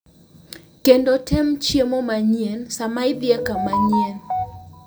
Kendo tem chiemo manyien sama idhi e kama manyien.